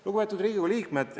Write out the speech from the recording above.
Lugupeetud Riigikogu liikmed!